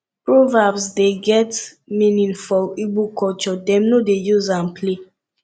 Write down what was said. proverbs dey get deep meaning for igbo culture dem no dey use am play